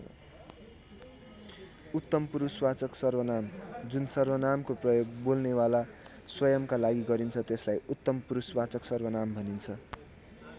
उत्तम पुरुषवाचक सर्वनाम जुन सर्वनामको प्रयोग बोल्नेवाला स्वयम्‌का लागि गरिन्छ त्यसलाई उत्तम पुरुषवाचक सर्वनाम भनिन्छन्।